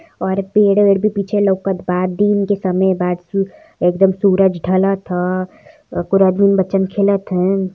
और पेड़ वेड़ भी पीछे लउकत बा। दिन के समय बा सु एकदम सूरज ढलत ह। बच्चन खेलत हैन् ।